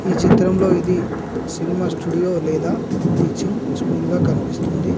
ఈ చిత్రంలో ఇది సినిమా స్టూడియో లేదా టీచింగ్ స్కూల్ గా కనిపిస్తుంది.